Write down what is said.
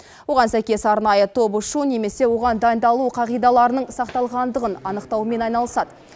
оған сәйкес арнайы топ ұшу немесе оған дайындалу қағидаларының сақталғандығын анықтаумен айналысады